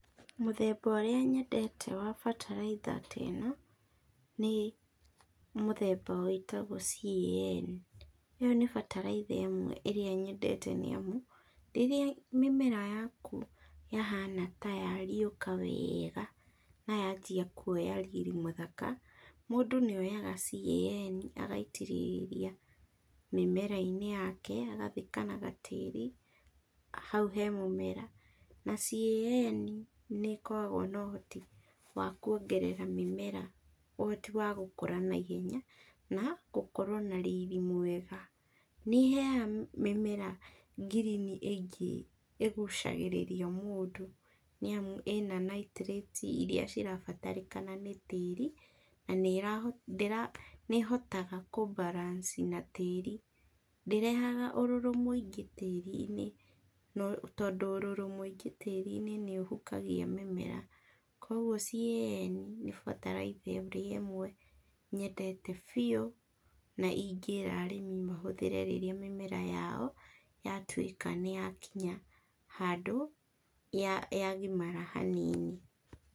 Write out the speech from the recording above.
Mũthemba ũrĩa nyendete wa bataraitha te no, nĩ mũthemba wĩtagwo CAN, ĩyo nĩ bataraitha ĩmwe ĩrĩa nyendete nĩamu, rĩrĩa mĩmera yaku yahana ta ya rĩũka wega na yanjia kuoya riri mũthaka, mũndũ nĩ oyaga CAN agaitĩrĩria mĩmera-inĩ yake, agathika na gatĩri hau he mũmera, na CAN nĩkoragwo na ũhoti wa kuongerera mĩmera ũhoti wa gũkũra na ihenya, na gũkorwo na riri mwega, nĩ ĩheyaga mĩmera green ĩ ngĩ ĩgucagĩrĩria mũndũ, nĩ amu a na nitrites iria irabatarĩkana nĩ tĩri, na nĩ ndĩ nĩhotaga ku balance na tĩri, ndĩrehaga ũrũrũ mũingĩ tĩri-inĩ, tondũ ũrũrũ mũingĩ tĩri-inĩ nĩ ũhukagia mĩmera, koguo CAN, nĩ bataraitha ĩrĩa ĩmwe nyendete bĩu, na ingĩra arĩmi mahũthĩre rĩrĩa mĩmera yao yatuĩka nĩ ya kinya handũ ya gimara hanini.